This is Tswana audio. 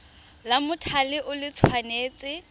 la mothale o le tshwanetse